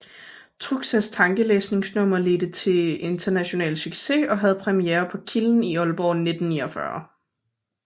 Truxas tankelæsningnummer ledte til international succes og havde premiere på Kilden i Ålborg 1949